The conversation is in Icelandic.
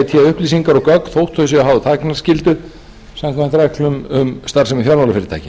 upplýsingar og gögn þótt þau séu háð þagnarskyldu samkvæmt reglum um starfsemi fjármálafyrirtækja